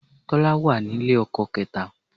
Tọ́lání wà ní ilé ọkọ kẹ́ta